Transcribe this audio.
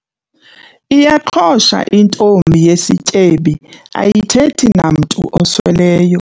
Iyaqhosha intombi yesityebi ayithethi namntu osweleyo.